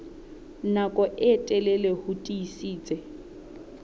nako e telele ho tiisitse